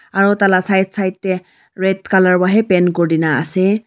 aro taila side side dae red colour para hi paint kurina asae.